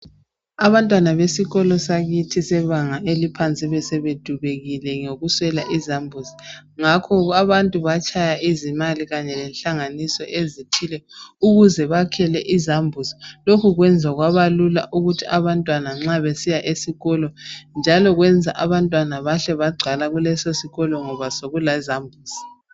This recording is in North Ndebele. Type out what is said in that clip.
Abantwana besikolo sakithi sebanga eliphansi besebedubekile ngokuswela izambuzi ngakho abantu batshaya izimali kanye lenhlanganiso ezithile ukuze bakhele izambuzi lokhu kwenza kwabalula ukuthi abantwana nxa besiya esikolo njalo kwenza abantwana bahle bagcwala kuleso sikolo ngoba sekulezambuzi.